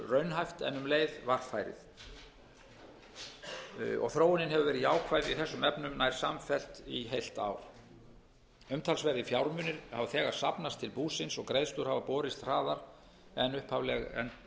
raunhæft en um leið varfærið þróunin hefur verið jákvæð í þessum efnum nær samfellt í heilt ár umtalsverðir fjármunir hafa þegar safnast til búsins og greiðslur hafa borist hraðar en greiðsluáætlun gerði ráð